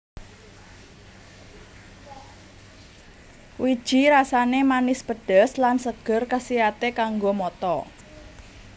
Wiji rasané manis pedes lan seger kasiaté kanggo mata